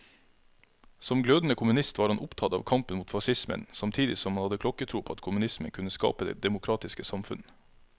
Som glødende kommunist var han opptatt av kampen mot facismen, samtidig som han hadde klokketro på at kommunismen kunne skape det demokratiske samfunn.